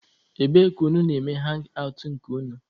Ebee ka unu na-eme hangị awtụ nke unu?